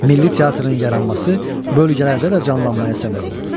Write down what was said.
Milli teatrın yaranması bölgələrdə də canlanmaya səbəb oldu.